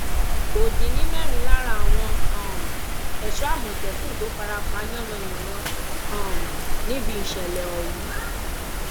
kò dín ní mẹrin lára àwọn um ẹṣọ àmọtẹkùn tó fara pa yànnàyànnà um níbi ìṣẹlẹ ọhún